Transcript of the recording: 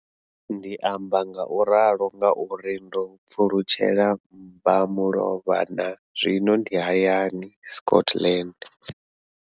Ndi amba ngauralo nga uri ndo pfulutshela mbamulovha na zwino ndi hayani, Scotland.